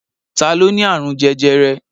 Ta ló ní àrùn jẹjẹrẹ?